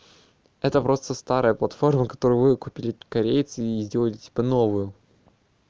это просто старая платформа которую выкупили корейцы и сделали типа новую